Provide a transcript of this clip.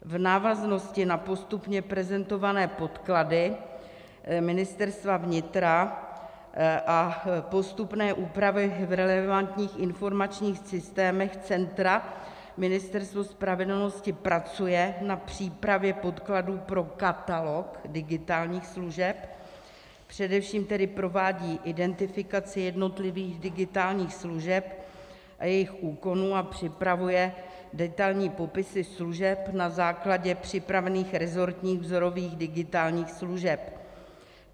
V návaznosti na postupně prezentované podklady Ministerstva vnitra a postupné úpravy v relevantních informačních systémech centra Ministerstvo spravedlnosti pracuje na přípravě podkladů pro katalog digitálních služeb, především tedy provádí identifikaci jednotlivých digitálních služeb a jejich úkonů a připravuje detailní popisy služeb na základě připravených resortních vzorových digitálních služeb.